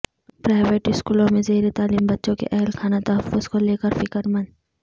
private اسکولوں میں زیر تعلیم بچوں کے اہل خانہ تحفظ کو لیکر فکرمند